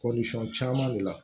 caman de la